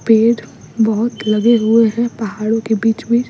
पेड़ बहुत लगे हुए हैं पहाड़ों के बीच-बीच --